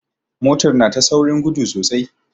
Motar na ta saurin gudu sosai.